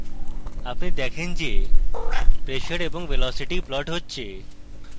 আপনি দেখেন যে pressure এবং velocity প্লট হচ্ছে